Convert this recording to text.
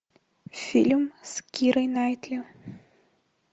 фильм с кирой найтли